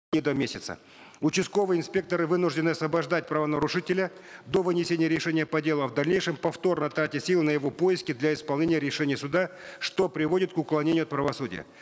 и до месяца участковый инспектор вынужден освобождать правонарушителя до вынесения решения по делу а в дальнейшем повторно тратя силы на его поиски для исполнения решения суда что приводит к уклонению от правосудия